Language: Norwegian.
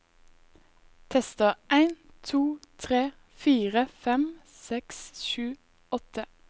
Tester en to tre fire fem seks sju åtte